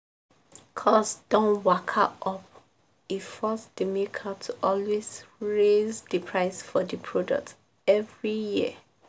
cost don waka up e force di maker to always raise di price for di products every year.